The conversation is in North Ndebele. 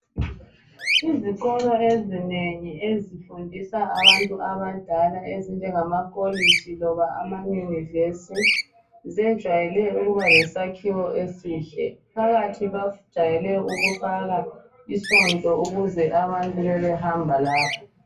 Izikolo ezinengi ezifundisa abantu abadala ezinjengama kolitshi loba ama university zejwayele ukuba le sakhiwo esihle phakathi bajwayele ukufaka isonto ukuze abantu bebe behamba lapho.